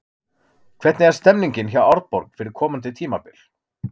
Hvernig er stemningin hjá Árborg fyrir komandi tímabil?